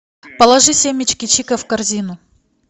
положи семечки чико в корзину